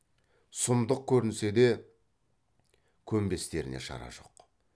сұмдық көрінсе де көнбестеріне шара жоқ